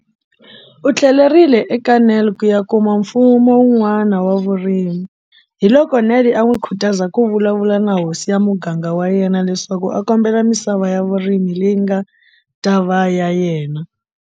U tlhelerile eka Nel ku ya kuma mfumo wun'wana wa vurimi, hiloko Nel a n'wi khutaza ku vulavula na hosi ya muganga wa yena leswaku a kombela misava ya vurimi leyi nga ta va ya yena.